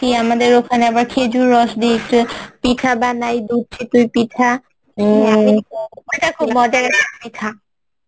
আমাদের ওখানে আবার খেজুর রস দিয়ে একটু পিঠা বানায়